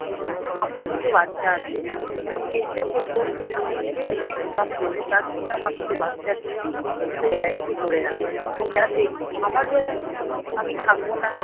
আমার দুটো বাচ্চা আছে আমি চেষ্টা করবো আমি নিজে যেটা Income করবো তার থেকে আমার দুটো বাচ্চার জন্যে দুটো LIC করে রাখা যাতে আমার যখন কোনো আমি থাকবো না